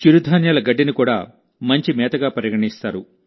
చిరుధాన్యాల గడ్డిని కూడా ఉత్తమ మేతగా పరిగణిస్తారు